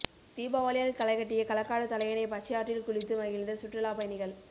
தீபாவளியால் களைகட்டிய களக்காடு தலையணை பச்சையாற்றில் குளித்து மகிழ்ந்த சுற்றுலா பயணிகள்